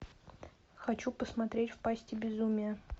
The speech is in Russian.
хочу посмотреть в пасти безумия